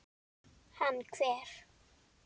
Hann hver?